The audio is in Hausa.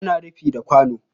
Ana rufi da kwano